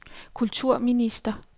kulturminister